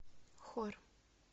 хор